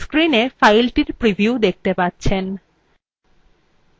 আপনি screenএ file preview দেখতে পাচ্ছেন